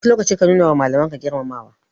A duk lokaci ka nuna wa Malaman ka girmamawa.